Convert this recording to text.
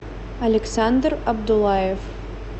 александр абдулаев